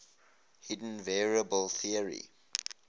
hidden variable theory